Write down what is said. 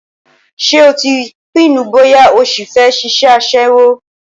Ṣé o ti pinnu bóyá ó sì fẹ́ ṣiṣẹ́ aṣẹ́wó?